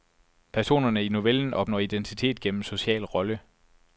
Personerne i novellen opnår identitet gennem social rolle.